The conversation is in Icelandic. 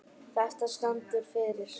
Þetta stendur fyrir